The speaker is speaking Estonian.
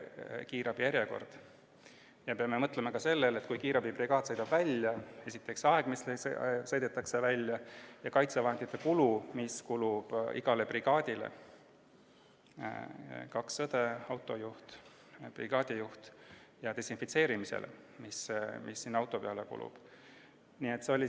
Me peame mõtlema ka selle peale, kui kiirabibrigaad sõidab välja: esiteks aeg, mis kulub väljasõidule, ning kaitsevahendid, mis kuluvad ära iga brigaadi puhul – kaks õde, autojuht, brigaadi juht –, samuti desinfitseerimisvahendid, mis kuluvad auto.